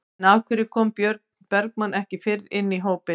En af hverju kom Björn Bergmann ekki fyrr inn í hópinn?